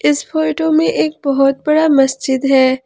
इस फोटो में एक बहुत बड़ा मस्जिद है।